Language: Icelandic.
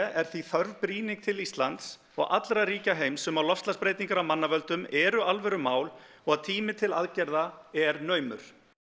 er því þörf brýning til Íslands og allra ríkja heims um að loftslagsbreytingar af mannavöldum eru alvöru mál og að tími til aðgerða er naumur